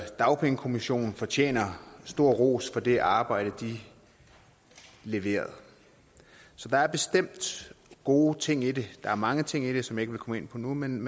dagpengekommissionen fortjener stor ros for det arbejde de leverede så der er bestemt gode ting i det der er mange ting i det som jeg ikke vil komme ind på nu men